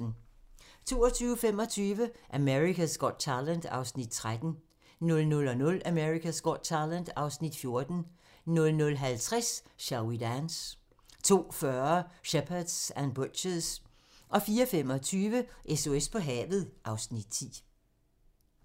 22:25: America's Got Talent (Afs. 13) 00:00: America's Got Talent (Afs. 14) 00:50: Shall We Dance? 02:40: Shepherds and Butchers 04:25: SOS på havet (Afs. 10)